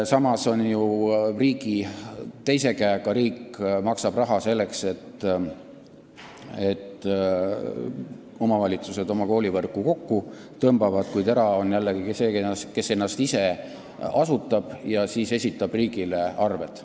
Riik maksab ju ühe käega raha, selleks et omavalitsused oma koolivõrku kokku tõmbaksid, kuid erasektor on jällegi see, kes ennast ise asutab ja siis esitab riigile arveid.